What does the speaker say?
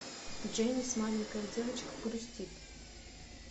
дженис маленькая девочка грустит